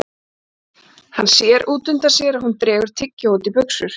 Hann sér út undan sér að hún dregur tyggjó út í buxur.